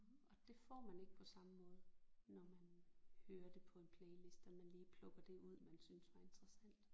Og det får man ikke på samme måde når man hører det på en playliste og man lige plukker det ud man synes var interessant